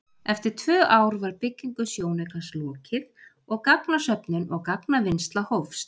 Eftir tvö ár var byggingu sjónaukans lokið og gagnasöfnun og gagnavinnsla hófst.